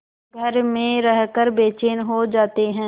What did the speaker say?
घर में रहकर बेचैन हो जाते हैं